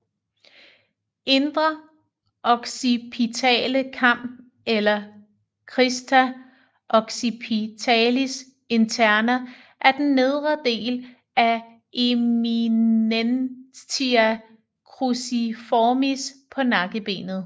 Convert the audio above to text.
Indre occipitale kam eller Crista occipitalis interna er den nedre del af eminentia cruciformis på nakkebenet